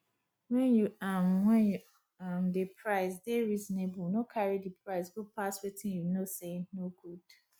when you um when you um dey price dey reasonable no carry di price go pass wetin you know sey no good